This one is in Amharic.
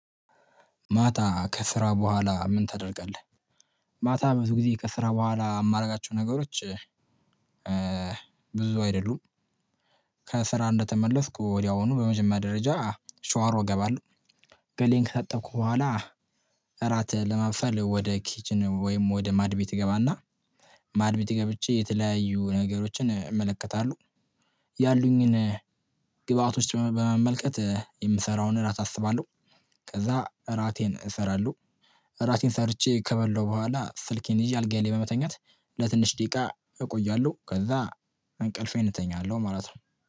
ማታ ከስራ በኋላ ምን ተደርገለህ? ማታ ብዙ ጊዜ ከስራ በኋላ የማደርጋቸው ነገሮች ብዙ አይደሉም ከስራ እንደተመለስኩ ወዲያውኑ በመጀመሪያ ደረጃ ሻወር እገባለሁ ገላዬን ከጠብኩ በኋላ እራት ለማብሰል ወደ ኪችን ወይም ወደ ማድ ቤት ይገባና ማድ ቤት ይገብቼ የተለያዩ ነገሮችን እመለከታለሁ፤ ያሉኝን ግብአቶች በመመልከት የምሰራውን እራት አስባለሁ፤ ከዛ እራቴን እሰራለሁ፤ እራቴን ሰርቼ ከበላው በኋላ ስልኬን ይዤ አልጋዬን በመተኛት፤ ለትንሽ ደቂቃ እቆያለሁ ከዛ አንቀልፌን እተኛለሁ ማለት ነው።